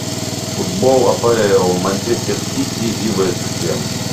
футбол апл манчестер сити и вест хэм